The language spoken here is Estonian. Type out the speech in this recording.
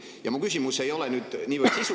Ja mu küsimus ei ole niivõrd sisu kohta kui see …